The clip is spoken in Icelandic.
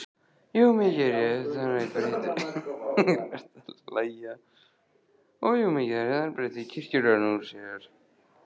Jú, mikið rétt, þarna breiddi kirkjugarðurinn úr sér.